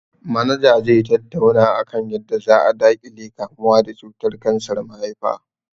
Manaja zai tattauna akan yadda za a daƙile kamuwa da cutar kansar mahaifa